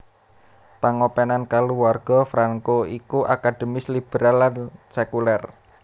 Pangopenan kaluwarga Franco ya iku akademis liberal lan sekuler